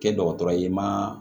Kɛ dɔgɔtɔrɔ ye ma